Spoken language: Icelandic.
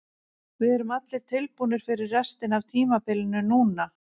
Við erum allir tilbúnir fyrir restina af tímabilinu núna.